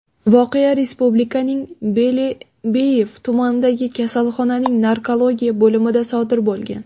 Voqea respublikaning Belebeyev tumanidagi kasalxonaning narkologiya bo‘limida sodir bo‘lgan.